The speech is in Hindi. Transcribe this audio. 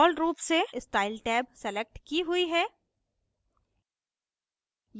default रूप से स्टाइल टैब सलेक्ट की हुई है